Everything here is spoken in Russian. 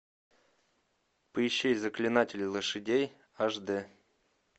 поищи заклинатели лошадей аш дэ